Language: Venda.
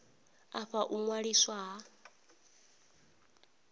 a fha u ṅwaliswa ha